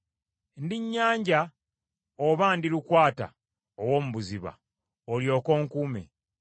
Ndi nnyanja oba ndi lukwata ow’omu buziba, olyoke onkuume?